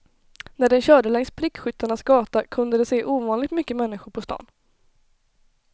När den körde längs prickskyttarnas gata kunde de se ovanligt mycket människor på stan.